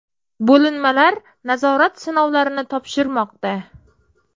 Bo‘linmalar nazorat sinovlarini topshirmoqda .